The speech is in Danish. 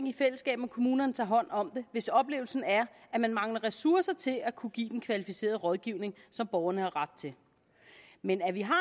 i fællesskab med kommunerne tager hånd om det hvis oplevelsen er at man mangler ressourcer til at kunne give den kvalificerede rådgivning som borgerne har ret til men at vi har